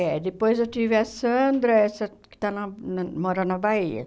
É, depois eu tive a Sandra, essa que está na na mora na Bahia.